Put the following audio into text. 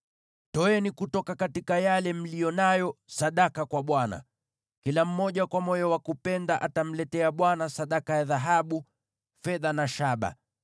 Toeni sadaka kwa Bwana kutoka mali mliyo nayo. Kila mmoja aliye na moyo wa kupenda atamletea Bwana sadaka ya dhahabu, fedha na shaba;